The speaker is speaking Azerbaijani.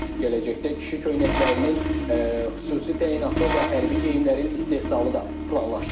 Gələcəkdə kişi köynəklərinin xüsusi təyinatlı və hərbi geyimlərin istehsalı da planlaşdırılır.